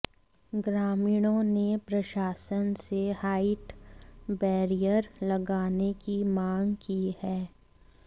ग्रामीणों ने प्रशासन से हाइट बैरियर लगाने की मांग की है